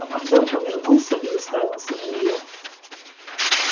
командор повернулся и уставился на неё